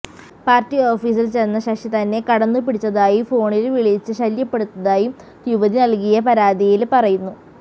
party ഓഫീസില് ചെന്ന ശശി തന്നെ കടന്നുപിടിച്ചതായും ഫോണില് വിളിച്ച് ശല്യപ്പെടുത്തതായും യുവതി നല്കിയ പരാതിയില് പറയുന്നു